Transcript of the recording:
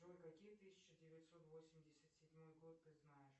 джой какие тысяча девятьсот восемьдесят седьмой год ты знаешь